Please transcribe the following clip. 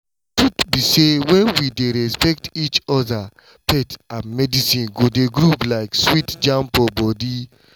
truth be say when we dey respect each other faith and medicine go dey groove like sweet jam for body.